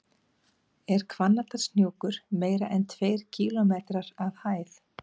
Er Hvannadalshnjúkur meira en tveir kílómetrar að hæð?